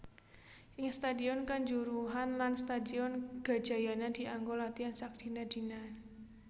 Ing Stadion Kanjuruhan lan Stadion Gajayana dianggo latihan sakdina dina